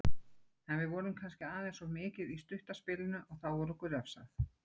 En við vorum kannski aðeins of mikið í stutta spilinu og þá var okkur refsað.